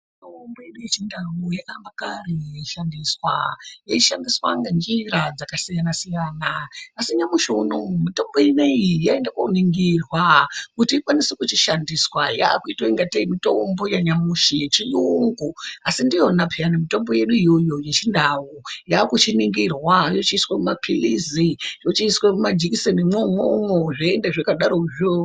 Mitombo yedu yechindau yakaamba kare yeishandiswa yeishandiswa ngenjira dzakasiyana -siyana asi nyamushi unowu mitombo iyi taenda koningirwa kuti ikwanise kuchishandiswa yakuitwa kungatei mitombo yanyamushi yechiyungu asi ndiyona pheyani mitombo yedu iyoyo yechindau yakuchiningira yoiswa mumaphilizi yochiiswa mumajikisenimwo imwomwo zvoenda zvakadarokwo.